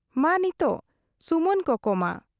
ᱢᱟ ᱱᱤᱛᱚᱜ ᱥᱩᱢᱟᱹᱱ ᱠᱚᱠᱚ ᱢᱟ ᱾